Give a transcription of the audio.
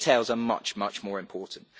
The details are much more important.